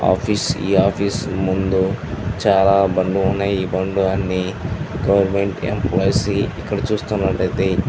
Office ఈ office ముందు చాలా బండ్లు ఉన్నాయ్. ఈ బండ్లు అన్ని ఇక్కడ చూస్తున్నట్లు ఐతే--